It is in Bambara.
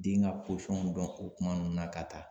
Den ka dɔn o kuma nun na ka taa